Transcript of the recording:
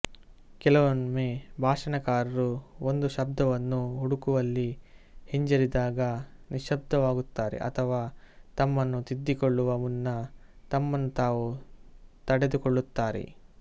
ಕೆಲವೊಮ್ಮೆ ಭಾಷಣಕಾರರು ಒಂದು ಶಬ್ದವನ್ನು ಹುಡುಕುವಲ್ಲಿ ಹಿಂಜರಿದಾಗ ನಿಶ್ಶಬ್ದವಾಗುತ್ತಾರೆ ಅಥವಾ ತಮ್ಮನ್ನು ತಿದ್ದಿಕೊಳ್ಳುವ ಮುನ್ನ ತಮ್ಮನ್ನು ತಾವು ತಡೆದುಕೊಳ್ಳುತ್ತಾರೆ